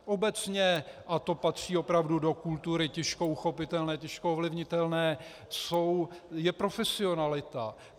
Obecně, a to patří opravdu do kultury těžko uchopitelné, těžko ovlivnitelné, je profesionalita.